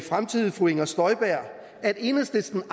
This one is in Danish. fremtidige fru inger støjberg at enhedslisten